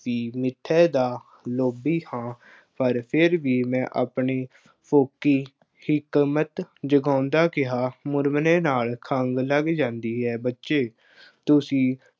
ਵੀ ਮਿੱਠੇ ਦਾ ਲੋਭੀ ਹਾਂ, ਪਰ ਫੇਰ ਵੀ ਮੈਂ ਆਪਣੀ ਫੋਕੀ ਫਿਕਮੱਤ ਜਗਾਉਂਦਾ ਕਿਹਾ, ਮੁਰਮਰੇ ਨਾਲ ਖੰਘ ਲੱਗ ਜਾਂਦੀ ਹੈ। ਬੱਚੇ, ਤੁਸੀਂ